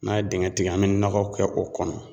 N'an ye dingɛ tigɛ, an bɛ nɔgɔ kɛ o kɔnɔ.